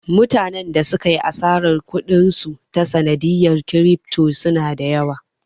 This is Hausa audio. Mutanen da suka yi asarar kuɗin su ta sanadiyar kirifto suna da yawa